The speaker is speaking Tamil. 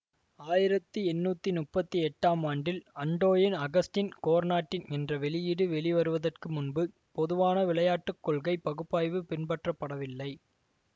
ஆயிரத்தி எண்ணூத்தி முப்பத்தி எட்டாம் ஆண்டில் அண்டோயின் அகஸ்டின் கோர்னாட்டின் என்ற வெளியீடு வெளிவருவதற்கு முன்பு பொதுவான விளையாட்டு கொள்கை பகுப்பாய்வு பின்பற்றப்படவில்லை